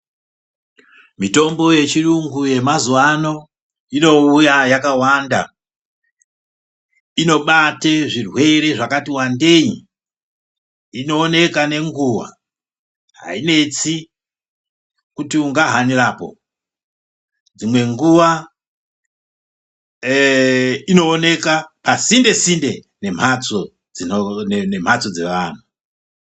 Mitombo ye chirungu ye mazuva ano ino uya yakawanda inobate zvirwere zvakati wandei ino oneka ne nguva hai netsi kuti unga hanirapo dzimwe nguva eee ino oneka pa sinde sinde ne mhatso dze vanhu.